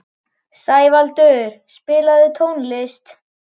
Sævaldur, spilaðu tónlist.